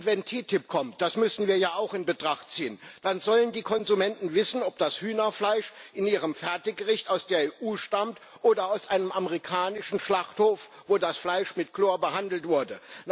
Wenn TTIP kommt das müssen wir ja auch in Betracht ziehen dann sollen die Konsumenten wissen, ob das Hühnerfleisch in ihrem Fertiggericht aus der EU stammt oder aus einem amerikanischen Schlachthof, wo das Fleisch mit Chlor behandelt wurde.